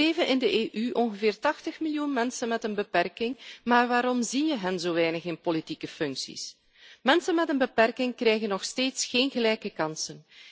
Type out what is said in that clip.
Er leven in de EU ongeveer 80 miljoen mensen met een beperking, maar waarom zie je hen zo weinig in politieke functies? Mensen met een beperking krijgen nog steeds geen gelijke kansen.